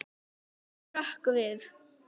Hann hrökk við.